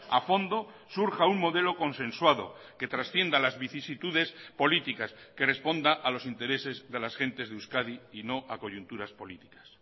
a fondo surja un modelo consensuado que trascienda las vicisitudes políticas que responda a los intereses de las gentes de euskadi y no a coyunturas políticas